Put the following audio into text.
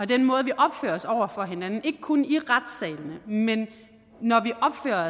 den måde vi opfører os på over for hinanden ikke kun i retssalene men